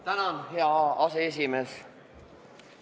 Tänan, hea aseesimees!